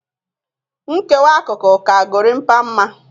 Nkewa akụkụ ka Gorimpa mma